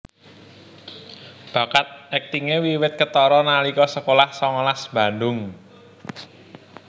Bakat aktingé wiwit ketara nalika sekolah songolas Bandung